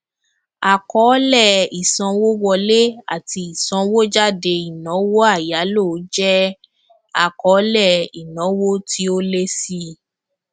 àkọọlẹ ìsanwówọlé ati ìsanwójáde ìnáwó àyáló jẹ àkọọlẹ ìnáwó tí ó lé síi